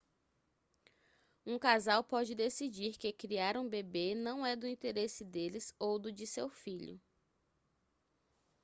um casal pode decidir que criar um bebê não é do interesse deles ou do de seu filho